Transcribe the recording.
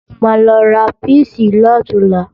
Mo máa lọ ra píìsì lọ̀túnla